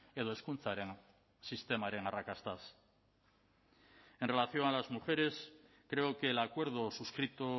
edo hezkuntzaren sistemaren arrakastaz en relación a las mujeres creo que el acuerdo suscrito